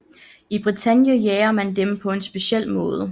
I Bretagne jager man dem på en speciel måde